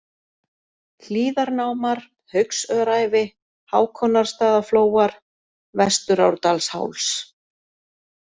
Hlíðarnámar, Haugsöræfi, Hákonarstaðaflóar, Vesturárdalsháls